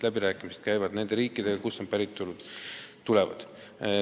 Läbirääkimised käivad nende riikidega, kust need inimesed pärinevad.